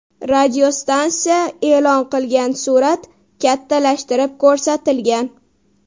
Radiostansiya e’lon qilgan surat kattalashtirib ko‘rsatilgan.